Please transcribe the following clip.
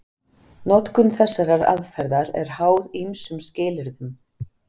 Notkun þessarar aðferðar er háð ýmsum skilyrðum.